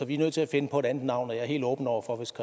vi er nødt til at finde på et andet navn er helt åben over for hvis